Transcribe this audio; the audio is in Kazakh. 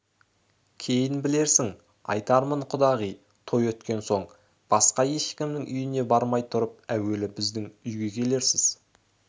кейін білерсің айтармын құдағи той өткен соң басқа ешкімнің үйіне бармай тұрып әуелі біздің үйге келерсіз